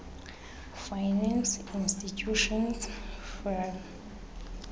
finance institutions rfi